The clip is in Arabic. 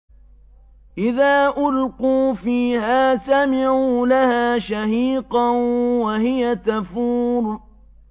إِذَا أُلْقُوا فِيهَا سَمِعُوا لَهَا شَهِيقًا وَهِيَ تَفُورُ